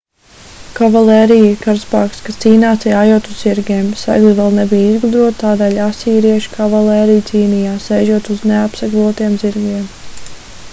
kavalērija ir karaspēks kas cīnās jājot uz zirgiem segli vēl nebija izgudroti tādēļ asīriešu kavalērija cīnījās sēžot uz neapseglotiem zirgiem